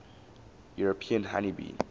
european honey bee